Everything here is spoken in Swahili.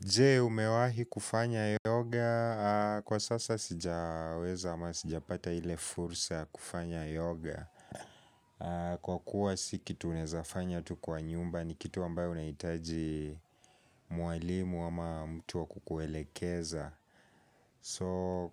Je, umewahi kufanya yoga? Kwa sasa sijaweza ama sijapata ile fursa ya kufanya yoga kwa kuwa si kitu naeza fanya tu kwa nyumba ni kitu ambayo unahitaji mwalimu ama mtu wakukuelekeza so